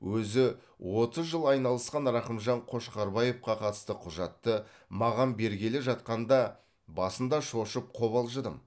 өзі отыз жыл айналысқан рақымжан қошқарбаевқа қатысты құжатты маған бергелі жатқанда басында шошып қобалжыдым